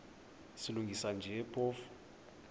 silungisa nje phofu